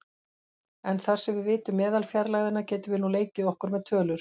En þar sem við vitum meðalfjarlægðina getum við nú leikið okkur með tölur.